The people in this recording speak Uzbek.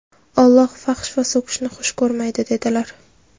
Alloh fahsh va so‘kishni xush ko‘rmaydi", dedilar".